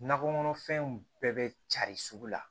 Nakɔ kɔnɔfɛnw bɛɛ bɛ carin sugu la